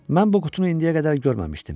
Mən bu qutunu indiyə qədər görməmişdim.